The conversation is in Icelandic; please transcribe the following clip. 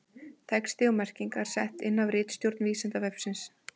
Texti og merkingar sett inn af ritstjórn Vísindavefsins.